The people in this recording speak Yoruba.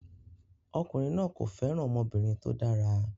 Ọkùnrin náà kò fẹ́ràn ọmọbìnrin tó dára